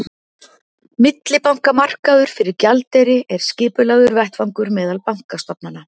millibankamarkaður fyrir gjaldeyri er skipulagður vettvangur meðal bankastofnana